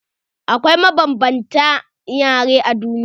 Akwai mabanbanta yare a duniya.